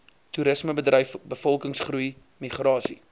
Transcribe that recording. toerismebedryf bevolkingsgroei migrasie